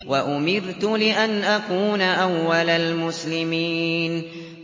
وَأُمِرْتُ لِأَنْ أَكُونَ أَوَّلَ الْمُسْلِمِينَ